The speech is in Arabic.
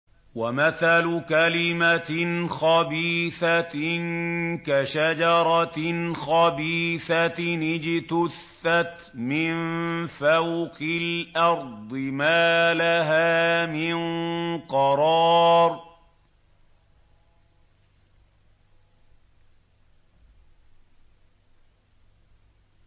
وَمَثَلُ كَلِمَةٍ خَبِيثَةٍ كَشَجَرَةٍ خَبِيثَةٍ اجْتُثَّتْ مِن فَوْقِ الْأَرْضِ مَا لَهَا مِن قَرَارٍ